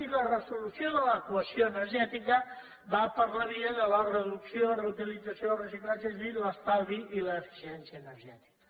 i la resolució de l’equació energètica va per la via de la reducció reutilització reciclatge és a dir l’estalvi i l’eficiència energètica